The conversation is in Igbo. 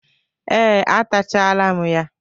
Ee, atachalam ya.